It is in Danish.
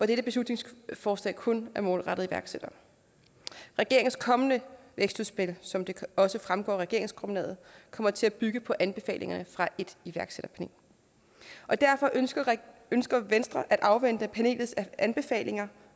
dette beslutningsforslag kun er målrettet iværksættere regeringens kommende vækstudspil som det også fremgår af regeringsgrundlaget kommer til at bygge på anbefalinger fra et iværksætterpanel og derfor ønsker ønsker venstre at afvente panelets anbefalinger